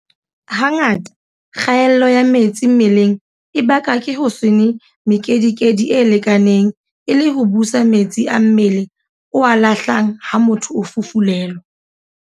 Hangata kgaello ya metsi mmeleng e bakwa ke ho se nwe mekedikedi e lekaneng e le ho busa metsi a mmele o a lahlang ha motho a fufulelwa.